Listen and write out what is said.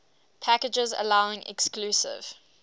packages allowing exclusive